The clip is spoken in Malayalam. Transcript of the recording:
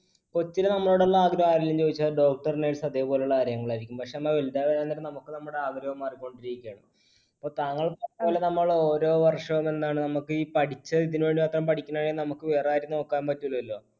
കൊച്ചില് നമ്മളോട് ആഗ്രഹം ആരെങ്കിലും ചോദിച്ചാൽ doctor, nurse അതേപോലെയുള്ള ആരെങ്കിലുമായിരിക്കും. പക്ഷെ നമ്മ വലുതാവുമ്പോൾ നമുക്ക് നമ്മുടെ ആഗ്രഹം മാറികൊണ്ടിരിക്കയാണ്. ഇപ്പൊ താങ്കൾ ഓരോ വർഷവും എന്താണ് പഠിച്ച നമുക്ക് വേറെയാരെയും നോക്കാൻ പറ്റില്ലലോ